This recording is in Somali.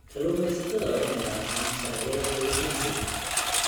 Kalluumeysatada waa inay raacaan sharciyada kalluumeysiga.